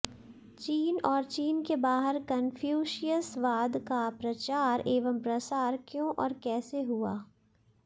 चीन और चीन के बाहर कनफ्यूशियसवाद का प्रचार एवं प्रसार क्यों और कैसे हुआ